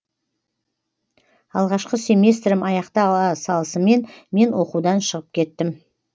алғашқы семестрім аяқтала салысымен мен оқудан шығып кеттім